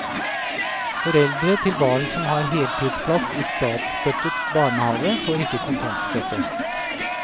Foreldre til barn som har heltidsplass i statsstøttet barnehave, får ikke kontantstøtte.